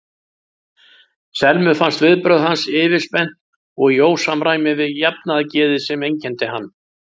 Selmu fannst viðbrögð hans yfirspennt og í ósamræmi við jafnaðargeðið sem einkenndi hann.